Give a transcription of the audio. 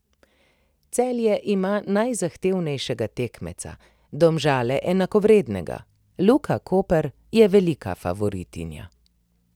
Celje ima najzahtevnejšega tekmeca, Domžale enakovrednega, Luka Koper je velika favoritinja.